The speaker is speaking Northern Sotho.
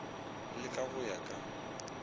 le ka go ya ka